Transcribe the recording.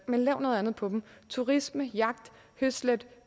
lave noget andet på dem turisme jagt høslæt